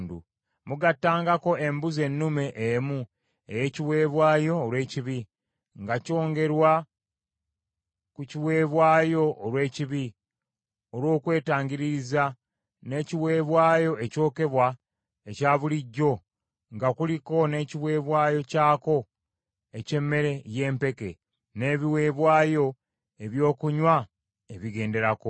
Mugattangako embuzi ennume emu ey’ekiweebwayo olw’ekibi, nga kyongerwa ku kiweebwayo olw’ekibi olw’okwetangiririza, n’ekiweebwayo ekyokebwa ekya bulijjo nga kuliko n’ekiweebwayo kyako eky’emmere y’empeke, n’ebiweebwayo ebyokunywa ebigenderako.